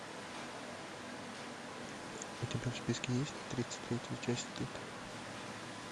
у тебя в списке есть тридцать третья часть стыд